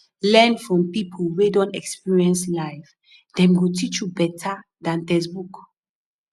learn from people wey don experience life dem go teach you beta dan textbook